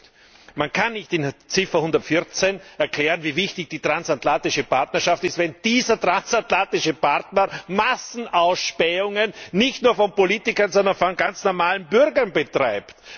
Zweiter Punkt Man kann nicht in Ziffer114 erklären, wie wichtig die transatlantische Partnerschaft ist, wenn dieser transatlantische Partner Massenausspähungen nicht nur von Politikern, sondern von ganz normalen Bürgern betreibt.